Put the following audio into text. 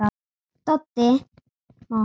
Doddi: Má hafa